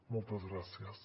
moltes gràcies